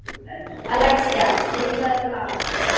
Alexía, spilaðu lag.